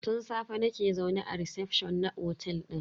Tun safe nake zaune a recefshon na otel din.